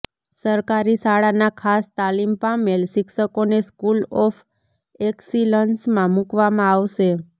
સરકારી શાળાના ખાસ તાલિમ પામેલ શિક્ષકોને સ્કૂલ ઓફ એકસીલન્સમાં મુકવામાં આવશે